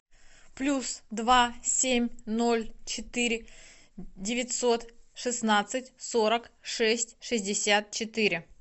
плюс два семь ноль четыре девятьсот шестнадцать сорок шесть шестьдесят четыре